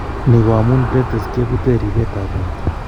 Ni ko amun platelets kebuute ripetab borto.